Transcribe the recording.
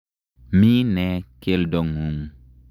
Mi ne keldo ng'ung'?